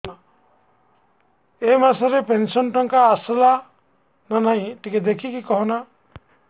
ଏ ମାସ ରେ ପେନସନ ଟଙ୍କା ଟା ଆସଲା ନା ନାଇଁ ଟିକେ ଦେଖିକି କହନା